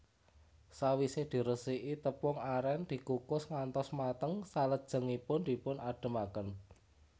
Sawise diresiki tepung aren dikukus ngantos mateng salajengipun dipun adhemaken